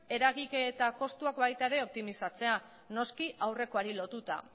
eragiketa kostuak baita ere optimizatzea noski aurrekoari lotuta